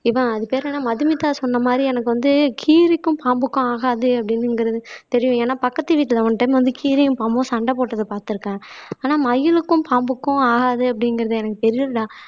இவன் அது பேர் என்னன்னா மதுமிதா சொன்ன மாதிரி எனக்கு வந்து கீரிக்கும் பாம்புக்கும் ஆகாது அப்படிங்கிறது தெரியும் ஏன்னா பக்கத்து வீட்டுல ஒன் டைம் வந்து கீரியும் பாம்பும் சண்டை போட்டதை பார்த்திருக்கேன் ஆனா மயிலுக்கும் பாம்புக்கும் ஆகாது அப்படிங்கிறது எனக்கு தெரியலடா